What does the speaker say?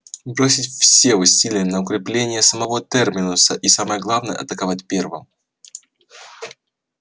бросить все усилия на укрепление самого терминуса и самое главное атаковать первым